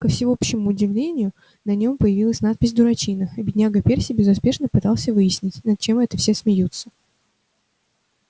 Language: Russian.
ко всеобщему удовольствию на нем появилась надпись дурачина и бедняга перси безуспешно пытался выяснить над чем это все смеются